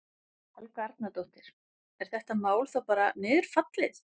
Helga Arnardóttir: Er þetta mál þá bara niðurfallið?